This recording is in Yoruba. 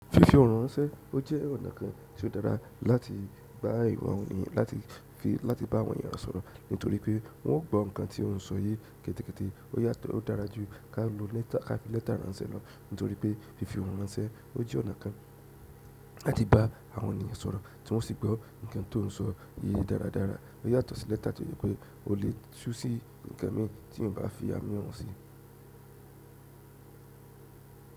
Fífi òhùn ránṣẹ́, ó jẹ́ ọ̀nà kan tí ó dára láti ba awọ̀n ènìyàn-- láti fi, láti bá àwọn ènìyàn sọ̀rọ̀ nítorí pé wọn ó gbọ́ ǹkan tí ó ń sọ yé kẹ́tẹ́kẹ́tẹ́. Ó yàtọ̀, ó dára jù ká lo lẹ́tà, ká fi lẹ́tà ránṣẹ́ lọ nítorí pé fífi òhùn ránṣẹ́ ó jẹ́ ọ̀nà kan láti bá àwọn ènìyàn sọ̀rọ̀ tí wọ́n o sì gbọ́ ǹkan tó ń sọ yé dáradára. Ó yàtọ̀ sí lẹ́tà tí ó jẹ́ pé o lè tú sí ǹkan mi tí eyan bá fi á mọ́ si.